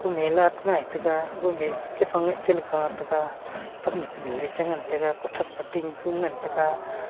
mela chi ngai taga aga ma ee chi phang ngai chiley kah taga pan nu kunu ee chi ngantaga kuthak phai ting fung ngantaga.